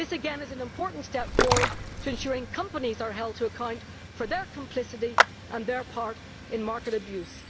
This again is an important step forward to ensuring companies are held to account for their complicity and their part in market abuse.